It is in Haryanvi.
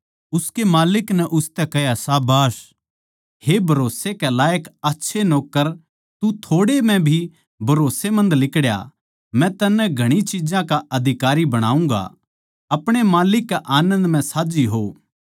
उसकै माल्लिक नै उसतै कह्या शाबाश हे भरोस्से के लायक आच्छे नौक्कर तू थोड़ैसे म्ह भी भरोसमंद लिकड़या मै तन्नै घणी चिज्जां का अधिकारी बणाऊँगा अपणे माल्लिक कै आनन्द म्ह साझ्झी हो